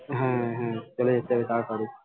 হ্যাঁ হ্যাঁ চলে এসছি আমি তাড়াতাড়ি